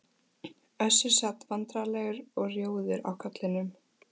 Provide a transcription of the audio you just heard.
Össur sat vandræðalegur og rjóður á kollinum.